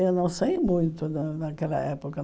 Eu não sei muito da daquela época.